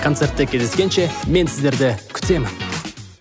концертте кездескенше мен сіздерді күтемін